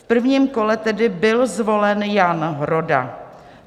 V prvním kole tedy byl zvolen Jan Roda.